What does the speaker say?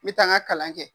N bɛ taa n ka kalan kɛ